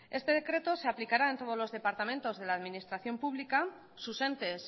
este decreto se aplicará en todos los departamentos de la administración pública sus entes